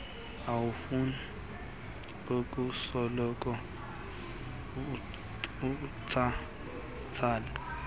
awufuni ukusoloko utsala